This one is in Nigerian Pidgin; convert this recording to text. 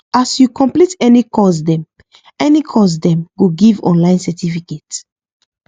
as you complete any course dem any course dem go give online certificate